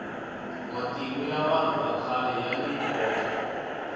matimu ya vanhu vakhale yani nkoka